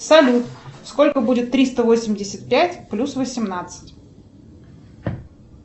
салют сколько будет триста восемьдесят пять плюс восемнадцать